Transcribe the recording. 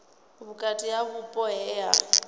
vhukati ha vhupo he ha